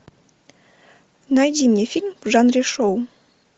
найди мне фильм в жанре шоу